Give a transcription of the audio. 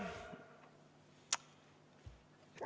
Aitäh!